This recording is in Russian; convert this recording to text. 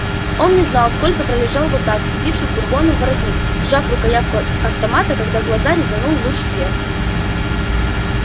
он не знал сколько пролежал вот так вцепившись бурбону в воротник сжав рукоятку автомата когда глаза резанул луч света